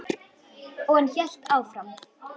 Og hann hélt áfram.